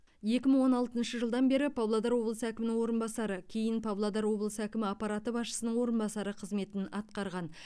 екі мың он алтыншы жылдан бері павлодар облысы әкімінің орынбасары кейін павлодар облысы әкімі аппараты басшысының орынбасары қызметін атқарған